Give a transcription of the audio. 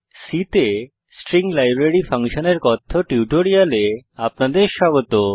C তে string library ফাংশনের কথ্য টিউটোরিয়ালে আপনাদের স্বাগত